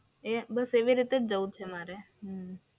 એ બસ એવી રીતે જ જવું છે મારે.